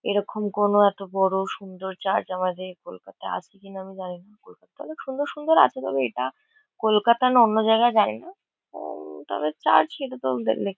এরকম কোনো এত বড়ো সুন্দর চার্চ আমাদের কলকাতায় আছে কিনা আমি জানি না। তবে সুন্দর সুন্দর আছে। তবে এটা কলকাতা না অন্য জায়গায় জানি না। ও তবে চার্চ সেটা তো লেখা --